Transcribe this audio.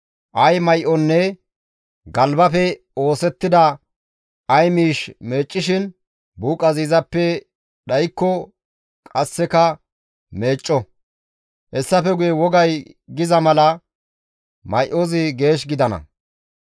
Ay may7onne galbafe oosettida ay miish meeccishin buuqazi izappe dhaykko qasseka meecco; hessafe guye wogay giza mala may7ozi geesh gidana.»